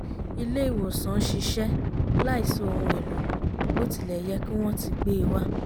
ilé ìwòsàn ṣiṣẹ́ láìsí ohun èlò bó tilẹ̀ yẹ kí wọ́n ti gbe e wa